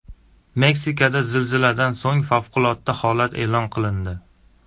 Meksikada zilziladan so‘ng favqulodda holat e’lon qilindi.